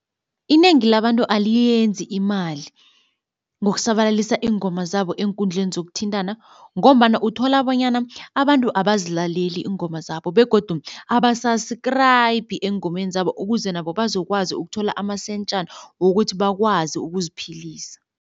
Inengi labantu aliyiyenzi imali ngokusabalalisa iingoma zabo eenkundleni zokuthintana ngombana uthola bonyana abantu abazilaleli iingoma zabo begodu aba-subscribe eengomeni zabo ukuze nabo bazokwazi ukuthola amasentjana wokuthi bakwazi ukuziphilisa.